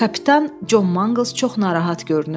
Kapitan Con Manqals çox narahat görünürdü.